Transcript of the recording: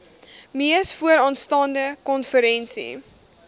mees vooraanstaande konferensie